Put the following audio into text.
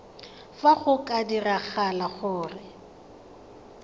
fa go ka diragala gore